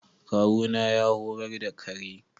Kawuna ya horar da kare.